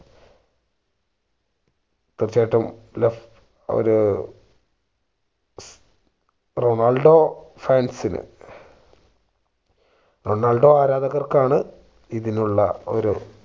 തീർച്ചയായിട്ടും ഒരു Ronaldo fans നു റൊണാൾഡോ ആരാധകർക്കാണ് ഇതിനുള്ള ഒരു